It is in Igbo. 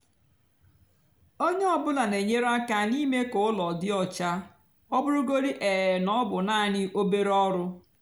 ónyé ọ bụlà nà-ènyere ákà n'ímé kà úló dị ọcha ọ bụrụgodị um ná ọ bụ nàání obere ọrụ.